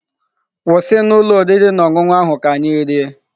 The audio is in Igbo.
Kwụsị na ụlọ oriri na ọṅụṅụ ahụ ka anyị rie!